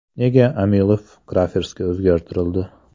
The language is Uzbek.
Nega Amilov Crafers’ga o‘zgartirildi?